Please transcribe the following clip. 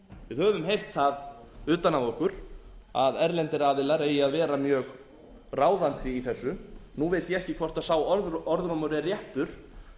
höfum heyrt það utan að okkur að erlendir aðilar eigi að vera mjög ráðandi í þessu nú veit ég ekki hvort sá orðrómur er réttur